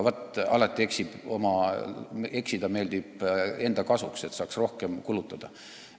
Vaat, alati meeldib eksida enda kasuks, et saaks rohkem kulutada.